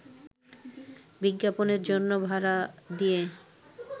বিজ্ঞাপনের জন্য ভাড়া দিয়ে